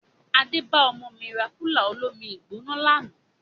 Adé bá ọmọ mi rà kúlà olómi-I-gbóná lànà